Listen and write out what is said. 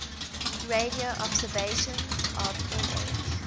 radio observations of nh